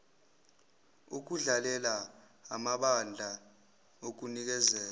okudlalela amabandla okunikeza